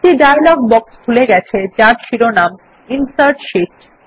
একটি dialog box খুলে গেছে যার শিরোনাম ইনসার্ট শীট